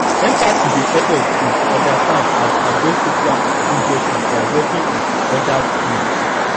empathy dey help us to to understand and address social injustices by walking in odas shoes